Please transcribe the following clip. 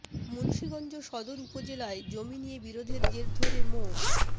মুন্সীগঞ্জ সদর উপজেলায় জমি নিয়ে বিরোধের জের ধরে মো